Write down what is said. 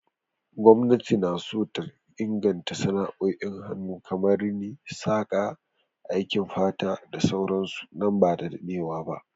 Gwamnati na so ta inganta sana'o'in hannu kamar Rini, saƙa, aikin fata da sauran su nan ba da dadewa ba.